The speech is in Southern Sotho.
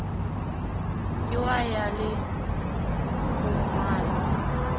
ke wa ya le kgongwana